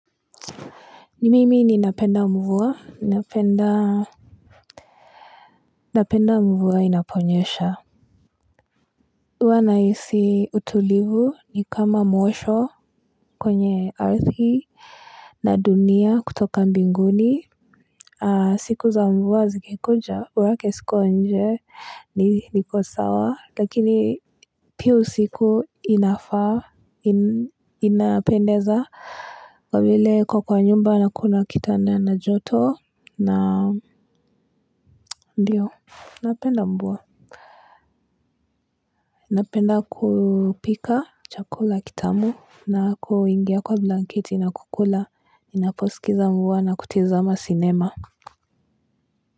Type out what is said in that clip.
Ni mimi ninapenda mvua napenda mvua inaponyesha huwa nahisi utulivu ni kama mwosho kwenye ardhi na dunia kutoka mbinguni siku za mvua zikikuna borake siko nje ni niko sawa lakini pia usiku inafaa inapendeza kwa vile kuwa kwa nyumba na kuna kitanda na joto na ndio napenda mvua. Napenda kupika chakula kitamu na kuingia kwa blanketi na kukula. Ninaposikiza mvua na kutizama sinema.